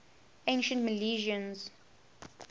ancient milesians